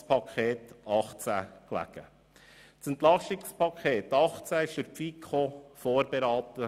Das EP 2018 wurde durch die FiKo vorberaten.